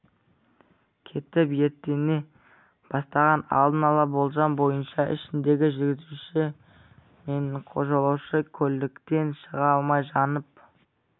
кетіп өртене бастаған алдын ала болжам бойынша ішіндегі жүргізуші мен жолаушы көліктен шыға алмай жанып